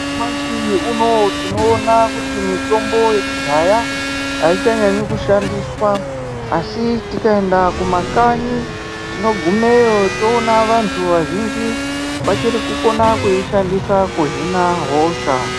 Nyamashi unowu tinoona kuti mutombo wekudhaya aichanyanyi kushandiswa asi tikaenda kumakanyi tinogumeyotoona vantu vazhinji vachiri kukona kuishandisa kuhina hosha.